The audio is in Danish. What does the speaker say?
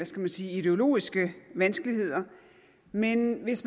skal man sige ideologiske vanskeligheder men hvis